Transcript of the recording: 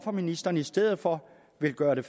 at ministeren i stedet for vil gøre det